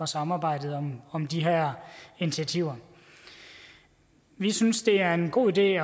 samarbejdet om om de her initiativer vi synes det er en god idé